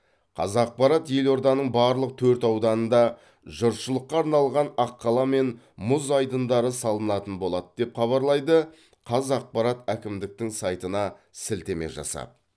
қазақпарат елорданың барлық төрт ауданында жұртшылыққа арналған аққала мен мұз айдындары салынатын болады деп хабарлайды қавзақпарат әкімдіктің сайтына сілтеме жасап